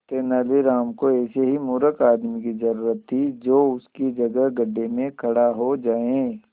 तेनालीराम को ऐसे ही मूर्ख आदमी की जरूरत थी जो उसकी जगह गड्ढे में खड़ा हो जाए